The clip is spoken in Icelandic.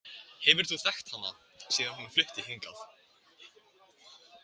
Hefur þú þekkt hana síðan hún flutti hingað?